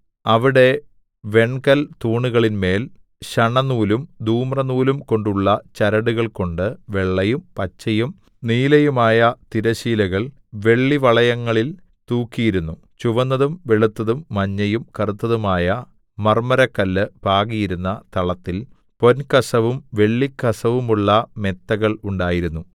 അവിടെ വെൺകൽ തൂണുകളിന്മേൽ ശണനൂലും ധൂമ്രനൂലുംകൊണ്ടുള്ള ചരടുകൾകൊണ്ട് വെള്ളയും പച്ചയും നീലയുമായ തിരശ്ശീലകൾ വെള്ളിവളയങ്ങളിൽ തൂക്കിയിരുന്നു ചുവന്നതും വെളുത്തതും മഞ്ഞയും കറുത്തതുമായ മർമ്മരക്കല്ല് പാകിയിരുന്ന തളത്തിൽ പൊൻകസവും വെള്ളിക്കസവുമുള്ള മെത്തകൾ ഉണ്ടായിരുന്നു